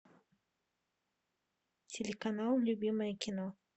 телеканал любимое кино